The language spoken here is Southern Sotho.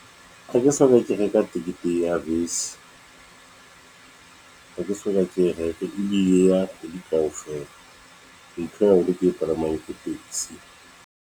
Ha ke soka ke reka tekete ya bese ha ke soka ke e reke e ya kgwedi kaofela. Ntho e haholo ke e palameng ke taxi.